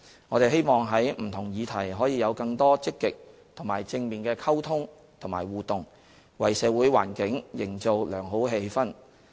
我們希望在不同議題可以有更多積極和正面的溝通和互動，為社會環境營造良好氣氛。